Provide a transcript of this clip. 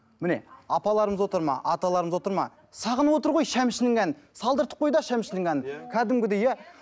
міне апаларымыз отыр ма аталарымыз отыр ма сағынып отыр ғой шәмшінің әнін салдыртып қой да шәмшінің әнін кәдімгідей иә